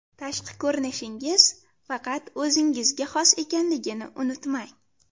Tashqi ko‘rinishingiz faqat o‘zingizga xos ekanligini unutmang!